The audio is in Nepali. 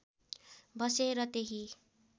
बसे र त्यहीँ